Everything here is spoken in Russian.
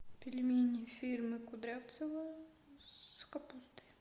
пельмени фирмы кудрявцево с капустой